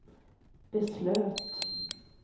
beslöt